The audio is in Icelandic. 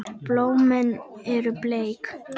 Blómin eru bleik.